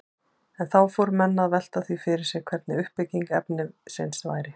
En þá fóru menn að velta því fyrir sér hvernig uppbygging efnisins væri.